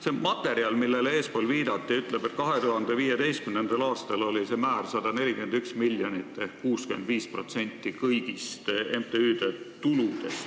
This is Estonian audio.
See materjal, millele eespool viidati, ütleb, et 2015. aastal oli see määr 141 miljonit ehk 65% MTÜ-de kõigist tuludest.